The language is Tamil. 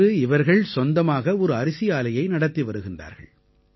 இன்று இவர்கள் சொந்தமாக ஒரு அரிசி ஆலையை நடத்தி வருகின்றார்கள்